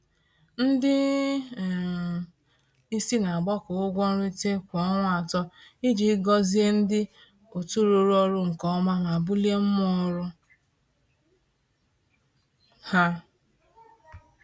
Ndị um isi na-agbakọ ụgwọ nrite kwa ọnwa atọ iji gọzie ndị otu rụrụ ọrụ nke ọma ma bulie mmụọ ọrụ ha.